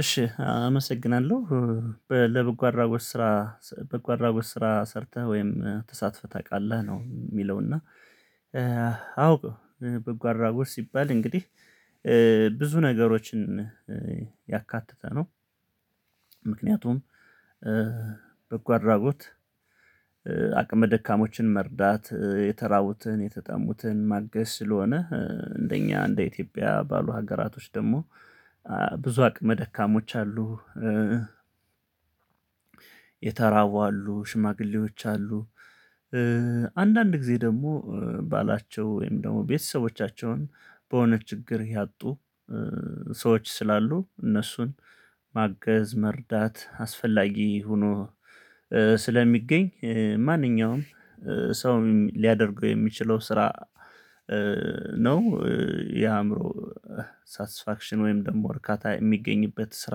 እሺ አመሰግናለሁ ለበጎ አድራጎት ስራ በጎ አድራጎት ስራ ሰርተህ ወይም ተሳትፈህ ታውቃለህ ነው የሚለው እና አውቀው በጎ አድራጎት ወር ሲባል እንግዲህ ብዙ ነገሮችን ያካተተ ነው። ምክንያቱም በጎ አድራጎት አቅም ደካማዎችን መርዳት የተራቡትን የተጠሙትን ማገዝ ስለሆነ እንደኛ እንደ ኢትዮጵያ ባሉ ሀገራቶች ደግሞ ብዙ አቅመ ደካሞች አሉ የተራቡ አሉ ሽማግሌዎች አሉ። አንዳንድ ጊዜ ደግሞ ባላቸው ወይም ደግሞ ቤተሰቦቻቸውን በሆነ ችግር ያጡ ሰዎች ስላሉ እነሱን ማገዝ መርዳት አስፈላጊ ሆኖ ስለሚገኝ ማንኛውም ሰው ሊያደርገው የሚችለው ስራ ነው። የአእምሮ ሳትስፋክሽን ወይም ደግሞ እርካታ የሚገኝበት ስራ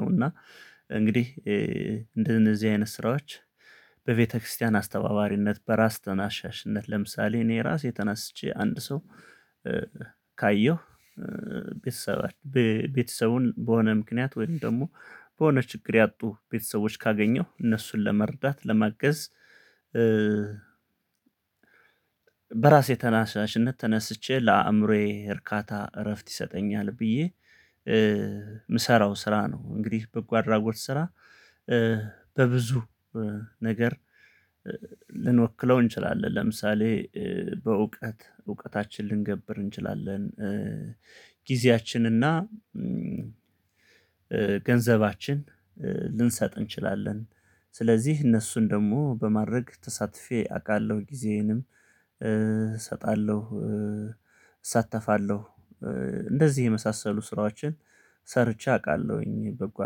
ነው። እና እንግዲህ እንደነዚህ አይነት ስራዎች በቤተክርስቲያን አስተባባሪነት በራስ ተናሻሽነት ለምሳሌ እኔ ራሴ ተናስቼ አንድ ሰው። ካየሁ ቤተሰባችን ቤተሰቡን በሆነ ምክንያት ወይም ደግሞ በሆነ ችግር ያጡ ቤተሰቦች ካገኘሁ እነሱን ለመርዳት ለመገዝ በራሴ ተነሳሽነት ተነስቼ ለአእምሮዬ እርካታ እረፍት ይሰጠኛል ብዬ የምሰራው ስራ ነው። እንግዲህ በጎ አድራጎት ስራ በብዙ ነገር እንችላለን ለምሳሌ በእውቀት እውቀታችን ልንገብር እንችላለን ጊዜያችንና ገንዘባችን ልንሰጥ እንችላለን። ስለዚሀ እነሱን ደግሞ በማድረግ ተሳትፌ አቃለው ጊዜዬንም እሰጣልው እሳተፋለው እንደዚህ የመሳሰሉ ስራዎችን ሰርቼ አውቃለሁኝ። በጎ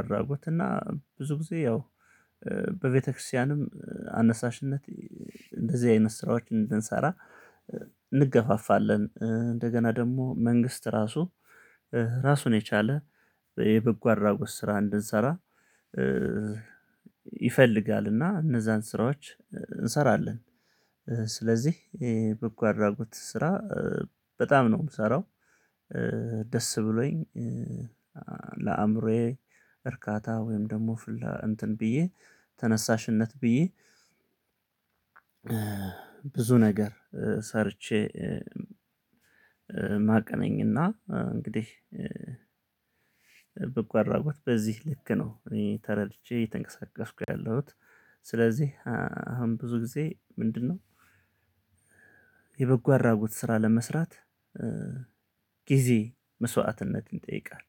አድራጎት እና ብዙ ጊዜ ያው በቤተክርስቲያንም አነሳሽነት እንደዚህ አይነት ስራዎችን እንድንሰራ እንገፋፋልን እንደገና ደግሞ መንግስት ራሱ ራሱን የቻለ የበጎ አድራጎት ስራ እንድንሰራ ይፈልጋልና እነዛን ስራዎች እንስራልን። ስለዚህ የበጎ አድራጎት ስራ በጣም ነው ምሰራው። ደስ ብሎኝ ለአእምሮዬ እርካታ ወይም ደግሞ እንትን ብዬ ተነሳሽነት ብዬ ብዙ ነገር ሰርቼ የማውቅ ነኝና። እንግዲህ በጎ አድራጎት በዚህ ልክ ነው። ተርድቼ እይተንቀሳቀስኩ ያለሁት ስለዚህ አሁን ብዙ ጊዜ ምንድነው? የበጎ አድራጎት ስራ ለመስራት ጊዜ መስዋትነትን ይጠይቃል።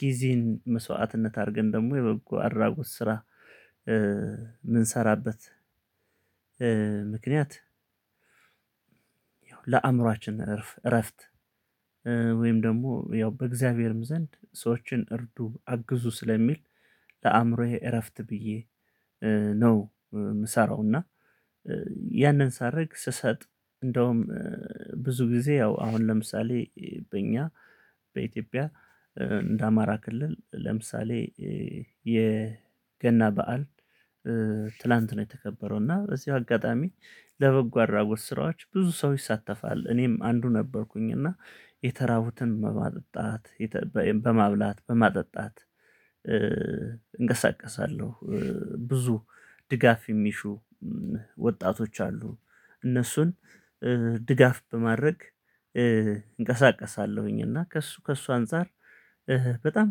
ጊዜን መስዋትነት አድርገን ደግሞ የበጎ አድራጎት ስራ ምንሰራበት ምክንያት። ለአምሮአችን እረፍት ወይም ደግሞ ያው በእግዝአብሄርም ዘንድ ሰዎችን እርዱ አግዙ ስለሚል ለአምዕሮዌ እረፍት ብዬ ነው። ምሰራው እና ያንን ሳርግ ስሰጥ እንደውም ብዙ ግዜ አሁን ለምሳሌ በኛ በኢትዮጵያ በአማራ ክልል ለምሳሌ የገና በዓል ትናንት ነው የተከበረው እና በዚ አጋጣሚ ለበጎ አድራጎት ስራዎች ብዙ ሰው ይሳተፋል እኔም አንዱ ነበርኩኝና። የተራቡትን በማጠጣት በማብላት በማጠጣት እንቀሳቀሳልው ብዙ ድጋፍ የሚሹ ወጣቶች አሉ እነሱን ድጋፍ በማድረግ እንቀሳቀሳለውኝና ከሱ ከሱ አንፃር በጣም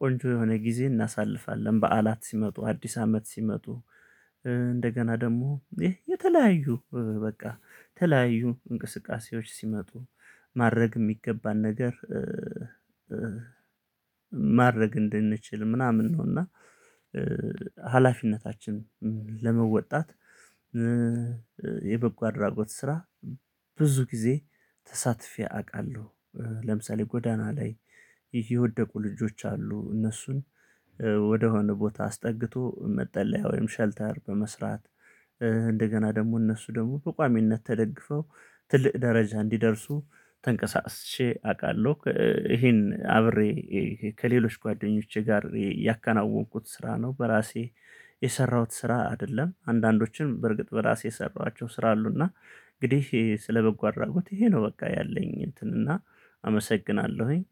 ቆንጆ የሆነ ግዜ እናሳልፋለን። በዓላት ሲመጡ አዲስ አመት ሲመጡ እንደገና ደግሞ የተለያዩ በቃ የተለያዩ እንቅስቃሴዎች ሲመጡ ማድረግ የሚገባን ነገር ማድረግ እንድንችል ምናምን ነውና። ሀላፊነታችን ለመወጣት የበጎ አድራጎት ስራ ብዙ ጊዜ ተሳትፌ አውቃልው። ለምሳሌ ጎዳና ላይ የወደቁ ልጆች አሉ እነሱን ወደ ሆነ ቦታ አስጠግቶ መጠለያ ወይም ሼልተር በመስራት እንደገና ደግሞ እነሱ ደሞ በቋሚነት ተደግፈው ትልቅ ድረጃ እንዲደርሱ ተንቀሳቅሼ አቃለው ይሄን አብሬ ከሌሎች ጓደኞቼ ጋር ያከናወንኩት ስራ ነው። በራሴ የሰራሁት ስራ አይደልም አንዳንዶችም በርግጥ በእራሴ የሰራኋቸው ስራ አሉ። እንግዲህ ስለ በጎ አድራጎት ይሄ ነው ያለኝ። አመሰግናለሁኝ።